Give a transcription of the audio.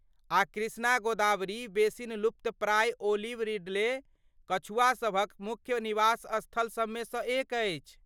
आ कृष्णा गोदावरी बेसिन लुप्तप्राय olive ridley कछुआ सभक मुख्य निवास स्थल सबमे सँ एक अछि।